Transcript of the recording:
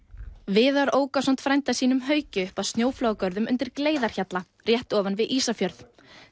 viðar ók ásamt frænda sínum Hauki upp að snjóflóðagörðum undir Gleiðarhjalla rétt ofan við Ísafjörð